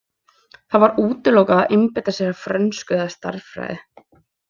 Það var útilokað að einbeita sér að frönsku eða stærðfræði.